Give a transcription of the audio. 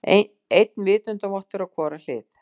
Einn vitundarvottur á hvora hlið.